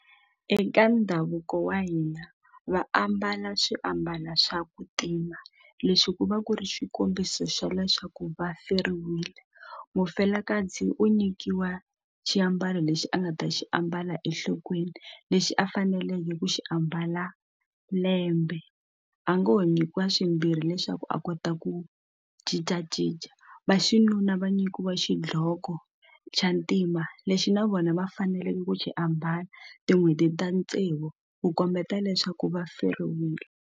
Eka ndhavuko wa hina va ambala swiambalo swa ku tima lexi ku va ku ri xikombiso xa leswaku va feriwile mufelakazi u nyikiwa xiambalo lexi a nga ta xi ambala enhlokweni lexi a faneleke ku xi ambala lembe a ngo ho nyikiwa swimbirhi leswaku a kota ku cincacinca vaxinuna va nyikiwa xidloko xa ntima lexi na vona va faneleke ku xi ambala tin'hweti ta tsevu ku kombeta leswaku va feriwile.